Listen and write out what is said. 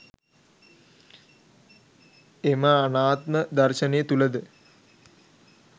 එම අනාත්ම දර්ශනය තුළද